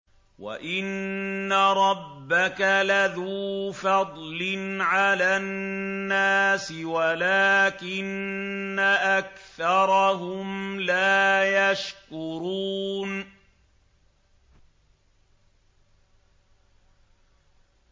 وَإِنَّ رَبَّكَ لَذُو فَضْلٍ عَلَى النَّاسِ وَلَٰكِنَّ أَكْثَرَهُمْ لَا يَشْكُرُونَ